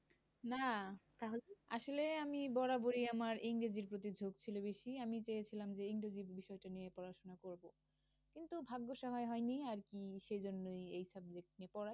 না তাহলে আসলে আমি আমার বরাবরই আমার ইংরেজির প্রতি ঝোক ছিল বেশি। আমি চেয়েছিলাম যে, ইংরেজির বিষয়টি নিয়ে পড়াশোনা করব। কিন্তু ভাগ্য সহায় হয়নি, আর কি? এই জন্যই এই subject নিয়ে পড়া।